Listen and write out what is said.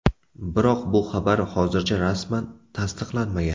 Biroq, bu xabar hozircha rasman tasdiqlanmagan.